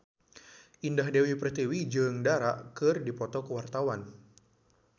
Indah Dewi Pertiwi jeung Dara keur dipoto ku wartawan